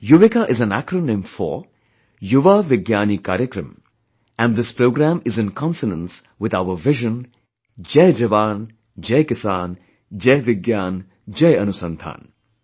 'Yuvika' is an acronym for ' Yuva Vigyani Karyakram and this program is in consonance with our vision, "Jai Jawan, Jai Kisan, Jai Vigyan, Jai Anusandhaan'